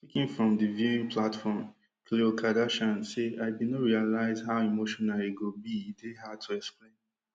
speaking from di viewing platform khlo kardashian say i bin no realise how emotional e go be e dey hard to explain